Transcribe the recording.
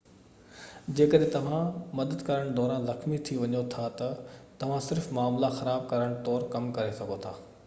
جيڪڏهن توهان مدد ڪرڻ دوران زخمي ٿي وڃو ٿا ته توهان صرف معاملا خراب ڪرڻ طور ڪم ڪري سگهو ٿا